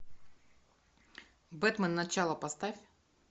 бэтмен начало поставь